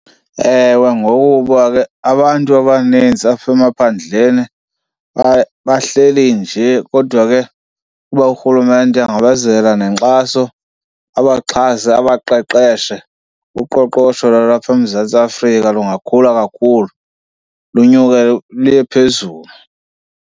Ewe, ngokuba ke abantu abanintsi apha emaphandleni bahleli nje. Kodwa ke kuba urhulumente angabazela nenkxaso abaxhase, abaqeqeshe, uqoqosho lwalapha eMzantsi Afrika lungakhula kakhulu lunyuke luye phezulu.